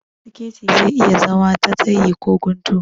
Siketi zai iya zama da tsayi ko guntu